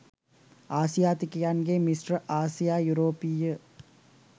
ආසියාතිකයන්ගේ මිශ්‍ර ආසියා යුරෝපීය